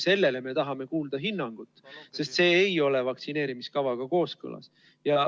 Selle kohta me tahame kuulda hinnangut, sest see ei ole vaktsineerimiskavaga kooskõlas.